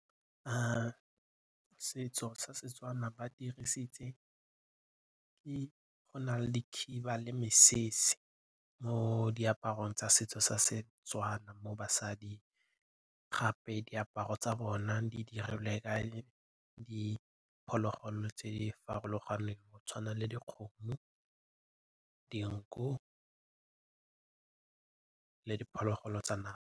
Setso sa Setswana ba dirisitse, go na le dikhiba le mesese mo diaparong tsa setso sa Setswana mo basading gape diaparo tsa bona di dirilwe ka diphologolo tse di farologaneng go tshwana le dikgomo, dinku le diphologolo tsa .